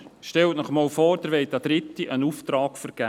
Stellen Sie sich vor, Sie wollen einen Auftrag an Dritte vergeben.